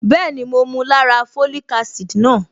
Bẹ́ẹ̀ni, mo mu lára folic acid náà.